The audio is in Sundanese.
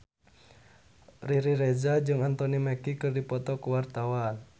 Riri Reza jeung Anthony Mackie keur dipoto ku wartawan